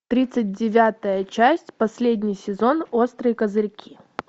тридцать девятая часть последний сезон острые козырьки